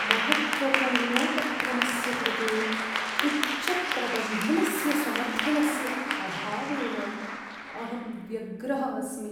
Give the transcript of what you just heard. महत्त्वपूर्णोपक्रमस्य कृते उच्चप्रबन्धनस्य समर्थनस्य अभावेन अहं व्यग्रः अस्मि।